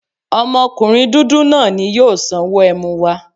Ọmọkunrin dudu naa ni yoo sanwo ẹmu wa